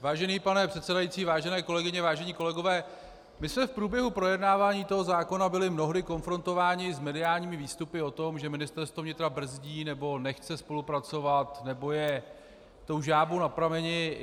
Vážený pane předsedající, vážené kolegyně, vážení kolegové, my jsme v průběhu projednávání toho zákona byli mnohdy konfrontováni s mediálními výstupy o tom, že Ministerstvo vnitra brzdí nebo nechce spolupracovat nebo je tou žábou na prameni.